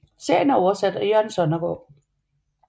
Serien er oversat af Jørgen Sonnergaard